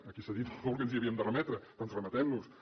aquí s’ha dit molt que ens hi havíem de remetre doncs remetem nos hi